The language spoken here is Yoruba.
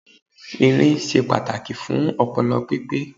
Irin ṣe pàtàkì fún ọpọlọ pípé